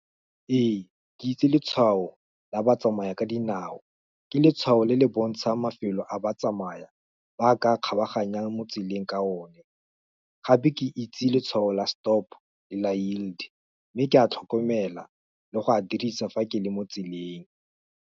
Ee, ke itse letshwao la batsamaya ka dinao, ke letshwao le le bontsha mafelo a ba tsamaya, ba ka kgabaganya mo tseleng ka o ne, gape ke itse letshwao la stop, le la yield, mme ke a tlhokomela, le go a dirisa, fa ke le mo tseleng.